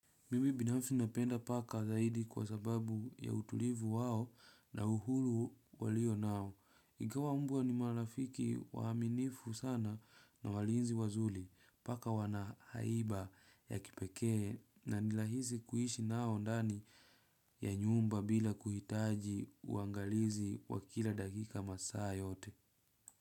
Mimi binafsi napenda paka zaidi kwa sababu ya utulivu wao na uhuru walio nao. Ingawa mbwa ni marafiki waaminifu sana na walinzi wazuri. Paka wana haiba ya kipekee na ni rahisi kuishi nao ndani ya nyumba bila kuhitaji uangalizi wa kila dakika masaa yote.